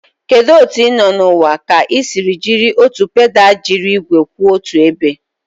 Kedu otu ị nọ n'ụwa ka ị siri jiri otu pedal jiri igwe kwụ otu ebe?